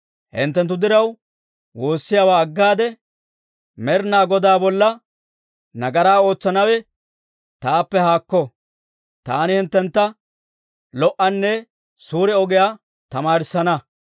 Hinttenttu diraw woossiyaawaa aggaade Med'inaa Godaa bolla nagaraa ootsanawe taappe haakko; taani hinttentta lo"onne suure ogiyaa tamaarissana.